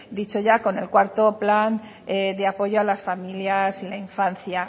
dicho ya con el cuarto plan de apoyo a las familias y la infancia